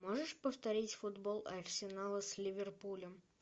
можешь повторить футбол арсенала с ливерпулем